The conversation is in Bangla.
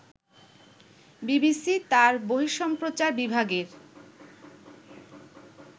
বিবিসি তার বর্হিসম্প্রচার বিভাগের